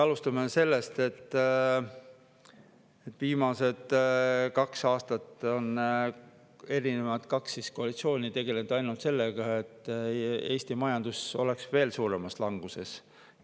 Alustame sellest, et viimased kaks aastat on kaks koalitsiooni tegelenud ainult sellega, et Eesti majandus oleks veel suuremas languses.